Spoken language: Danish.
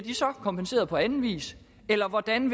kompenseret på anden vis og hvordan